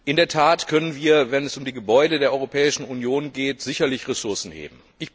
In der Tat können wir, wenn es um die Gebäude der Europäischen Union geht, sicherlich Ressourcen heben.